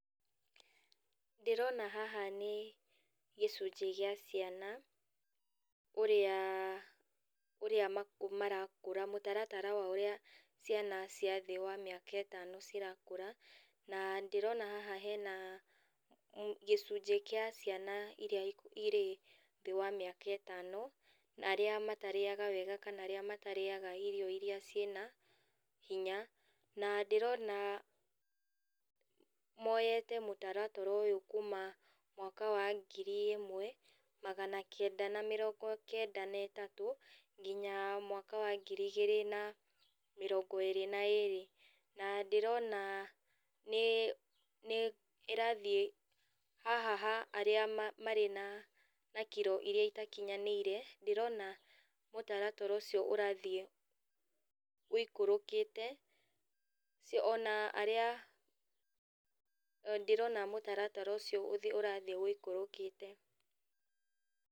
Ndĩrona haha nĩ gĩcunjĩ gĩa ciana, ũrĩa ũrĩa marakũra mũtaratara wa ũrĩa ciana ciandigua a mĩaka ĩtano cirakũra, na ndĩrona haha hena gĩcunjĩ gĩa ciana iria iria irĩ thĩ wa mĩaka ĩtano, na arĩa matarĩaga wega kana arĩa matarĩaga irio iria ciĩna hinya, na ndĩrona moyete mũtaratara ũyũ kuma mwaka wa ngiri ĩmwe, magana kenda na mĩrongo kenda na ĩtatũ, nginya mwaka wa ngiri igĩrĩ na mĩrongo ĩrĩ na ĩrĩ, na ndĩrona nĩ nĩ ĩrathiĩ haha ha arĩa ma marĩ na na kiro iria itakinyanĩire, ndĩrona mũtaratara ũcio ũrathiĩ wĩikũrũkĩte, ona arĩa ndĩrona mũtaratara ũcio ũrathiĩ wĩikũrũkĩte.